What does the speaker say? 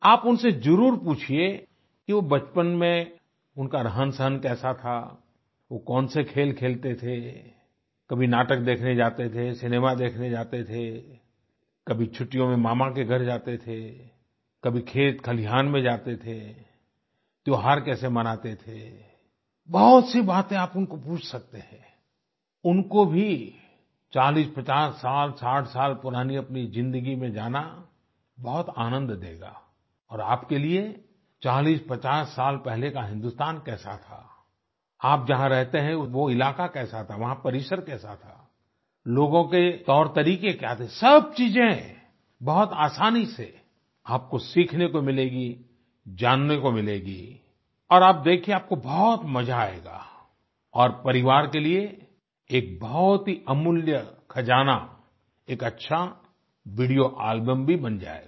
आप उनसे जरुर पूछिए कि वो बचपन में उनका रहनसहन कैसा था वो कौन से खेल खेलते थे कभी नाटक देखने जाते थे सिनेमा देखने जाते थे कभी छुट्टियों में मामा के घर जाते थे कभी खेतखलियान में जाते थे त्यौहार कैसे मानते थे बहुत सी बातें आप उनको पूछ सकते हैं उनको भी 4050 साल 60 साल पुरानी अपनी जिंदगी में जाना बहुत आनंद देगा और आपके लिए 4050 साल पहले का हिंदुस्तान कैसा था आप जहाँ रहते हैं वो इलाका कैसा था वहाँ परिसर कैसा था लोगों के तौरतरीके क्या थे सब चीजें बहुत आसानी से आपको सीखने को मिलेगी जानने को मिलेगी और आप देखिए आपको बहुत मजा आएगा और परिवार के लिए एक बहुत ही अमूल्य ख़जाना एक अच्छा वीडियो एल्बम भी बन जाएगा